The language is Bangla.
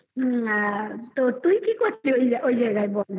তো তুই কি করছিস ওই জায়গায় ওই জায়গায় বল